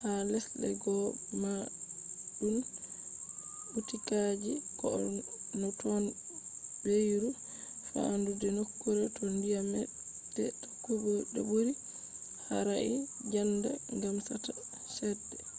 ha lesde goo maɗun ɓutikaji goo no ton beyru fanɗude nokkure to nyamete ko ɓuri harai djanda gam satta chede